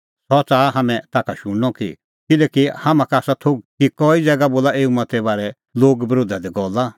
सह च़ाहा हाम्हैं ताखा शुणनअ किल्हैकि हाम्हां का आसा थोघ कि कई ज़ैगा बोला एऊ मत्ते बारै लोग बरोधा दी गल्ला